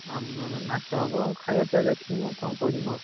ଆମର ନାଚ ହବ ଖାଇଆ ପିଇଆ ଦେଖିବୁ କଣ କରିବୁ ଆଉ।